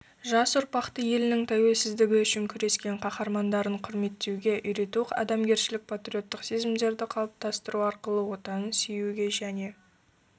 жас ұрпақты елінің тәуелсіздігі үшін күрескен қаһармандарын құрметтеуге үйрету адамгершілік патриоттық сезімдерді қалыптастыру арқылы отанын сүюге және